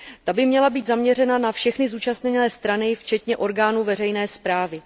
Ta by měla být zaměřena na všechny zúčastněné strany, včetně orgánů veřejné správy.